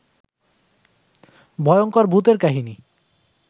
ভয়ংকর ভুতের কাহিনী